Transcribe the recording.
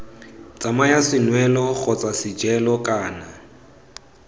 tsamaya senwelo kgotsa sejelo kana